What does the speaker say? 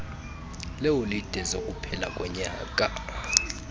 leeholide zokuphela konyaka